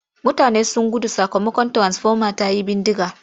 Mutane sun gudu sakamakon tiransifoma ta yi bindiga.